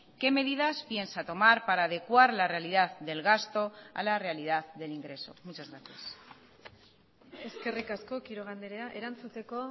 qué medidas piensa tomar para adecuar la realidad del gasto a la realidad del ingreso muchas gracias eskerrik asko quiroga andrea erantzuteko